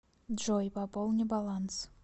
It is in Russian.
джой пополни баланс